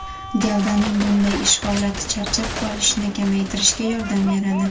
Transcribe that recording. Gavdaning bunday ish holati charchab qolishni kamaytirishga yordam beradi.